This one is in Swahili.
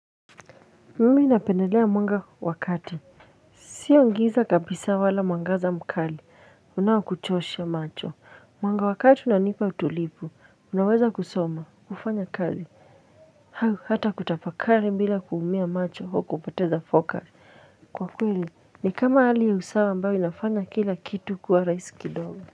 Mimi napendelea mwanga wa kati sio giza kabisa wala mwangaza mkali unaokuchosha macho mwanga wa kati unanipa utulivu unaweza kusoma kufanya kali au hata kutafakari bila kuumia macho au kupoteza focus kwa kweli ni kama hali ya usawa ambayo inafanya kila kitu kwa rahisi kidogo.